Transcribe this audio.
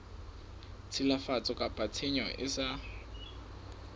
tshilafatso kapa tshenyo e sa